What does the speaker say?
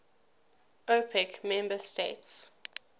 opec member states